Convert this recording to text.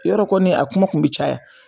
Yarɔ koni a kuma kun bɛ caya